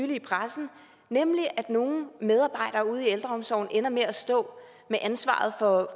i pressen nemlig at nogle medarbejdere ude i ældreomsorgen ender med at stå med ansvaret for